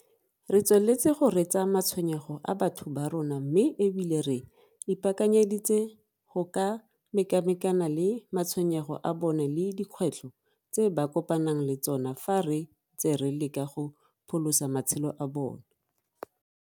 Re tsweletse go reetsa matshwenyego a batho ba rona mme e bile re ipaakanyeditse go ka mekamekana le matshwenyego a bona le dikgwetlho tse ba kopanang le tsona fa re ntse re leka go pholosa matshelo a batho.